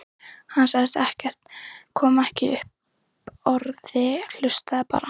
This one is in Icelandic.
Hann sagði ekkert, kom ekki upp orði, hlustaði bara.